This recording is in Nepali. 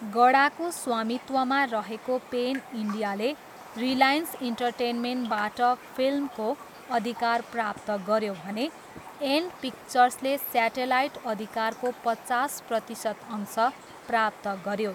गडाको स्वामित्वमा रहेको पेन इन्डियाले रिलायन्स इन्टरटेनमेन्टबाट फिल्मको अधिकार प्राप्त गऱ्यो भने एन्ड पिक्चर्सले स्याटेलाइट अधिकारको पचास प्रतिशत अंश प्राप्त गऱ्यो।